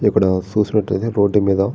ఇక్కడ చుసినట్టయితే రోడ్ మీద --